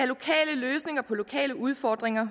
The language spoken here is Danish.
lokale løsninger på lokale udfordringer